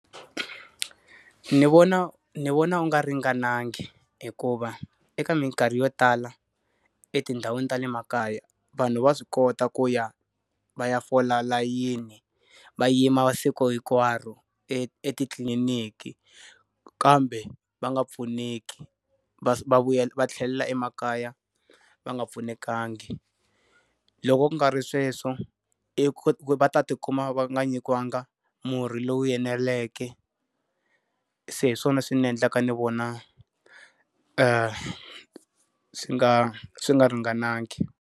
Ni vona ni vona wu nga ringanangi hikuva eka mikarhi yo tala etindhawini ta le makaya, vanhu va swi kota ku ya va ya fola layini, va yima masiku hinkwaro etitliliniki kambe va nga pfuneki. Va vuyela va tlhelela emakaya va nga pfunekangi. Loko ku nga ri sweswo, i ku va ta ti kuma va nga nyikiwangi murhi lowu eneleke. Se hi swona swi ni endleka ni vona swi nga swi nga ringanangi.